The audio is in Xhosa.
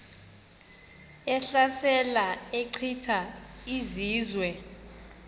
ehlasela echitha izizwe